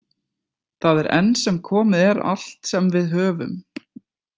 Það er enn sem komið er allt sem við höfum.